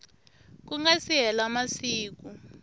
ku nga si hela masiku